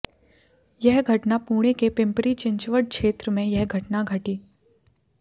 यह घटना पुणे के पिंपरी चिंचवड क्षेत्र में यह घटना घटी